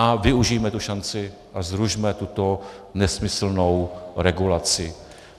A využijme tu šanci a zrušme tuto nesmyslnou regulaci.